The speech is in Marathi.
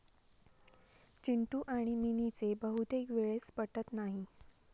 चिंटू आणि मिनीचे बहुतेक वेळेस पटत नाही.